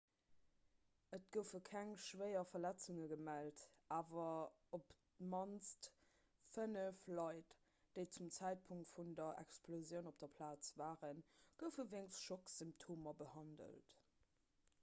et goufe keng schwéier verletzunge gemellt awer op d'mannst fënnef leit déi zum zäitpunkt vun der explosioun op der plaz waren goufe wéinst schocksymptomer behandelt